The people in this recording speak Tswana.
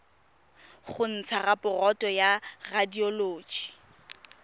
go ntsha raporoto ya radioloji